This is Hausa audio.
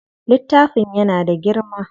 Littafin yana da girma.